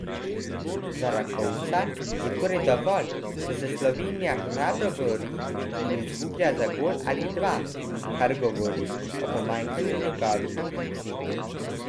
Za Rakovca je torej dovolj, če se Slovenija hrabro bori in izgublja za gol ali dva, kar govori o pomanjkanju njegovih ambicij.